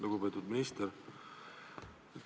Lugupeetud minister!